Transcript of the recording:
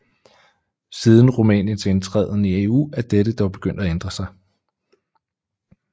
Siden Rumæniens indtræden i EU er dette dog begyndt at ændre sig